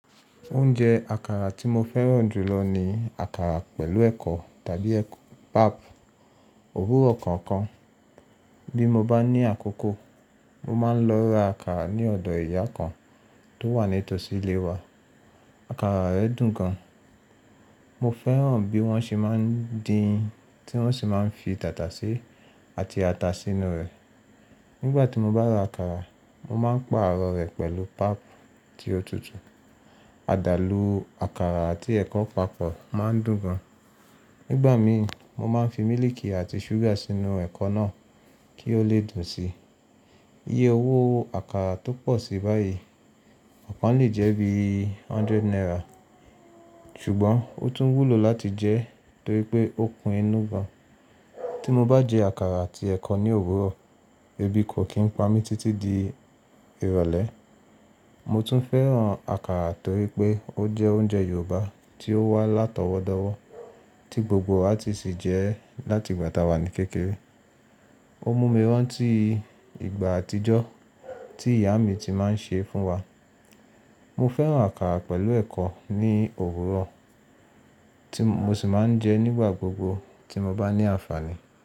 Oúnjẹ àkàrà tí mo fẹ́ràn jù lọ ni àkàrà pẹ̀lú ẹ̀kọ tàbí pap, òwúrọ̀ kọ̀ọ̀kan. Bí mo bá ní àkókò, mo máa ń lọ ra àkàrà ní ọ̀dọ ìyá kan tó wà ní tòsí ilé wa. Àkàrà rẹ̀ dùn gan. Mo fẹ́ràn bí wọ́n ṣe máa ń dín in tí wọ́n sì máa ń fi tàtàsé àti ata sínú rẹ̀. Nígbà tí mo bá ra àkàrà, mo máa ń pàrọ̀ rẹ̀ pẹ̀lú pap tí ó tutù. Àdàlù àkàrà àti ẹ̀kọ papọ̀ máa ń dùn gan. Nígbà mi mo máa ń fi mílìkì àti ṣúgà sínú ẹ̀kọ náà kí ó lè dùn síi. Iye owó àkàrà tó pọ̀ sí báyìí, ọ̀kan le jẹ́ bí hundred naira, ṣùgbọ́n ó tún wúlò láti jẹ torí pé ó kun inú gan. Tí mo bá jẹ àkàrà àti ẹ̀kọ ní òwúrọ̀, ebi kò kí ń pa mí títí di ìrọ̀lẹ́. Mo tún fẹ́ràn àkàrà torí pé ó jẹ́ oúnjẹ Yorùbá tí ó wà látọwọ́dọwọ́ tí gbogbo wa ti sì jẹ ẹ́ láti ìgbà tá a wà ní kékeré. Ó mú mi rántí ìgbà àtijọ́ tí ìyá mi ti máa ń ṣe é fún wa. Mo fẹ́ràn àkàrà pẹ̀lú ẹ̀kọ ní òwúrọ̀ tí mo sì máa ń jẹ nígbà gbogbo tí mo bá ní àǹfààní.